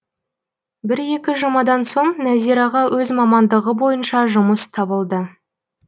бір екі жұмадан соң нәзираға өз мамандығы бойынша жұмыс табылды